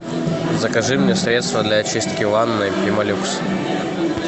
закажи мне средство для очистки ванны пемолюкс